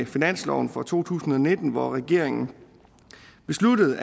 finansloven for to tusind og nitten hvor regeringen besluttede